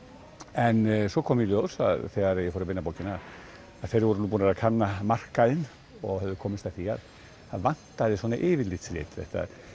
en svo kom í ljós þegar ég fór að vinna bókina að þeir voru búnir að kanna markaðinn og komust að því að það vantaði svona yfirlitsrit því